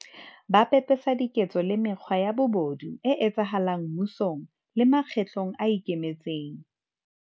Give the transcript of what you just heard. Ba pe pesa diketso le mekgwa ya bobodu e etsahala ng mmusong le mekgatlong e ikemetseng.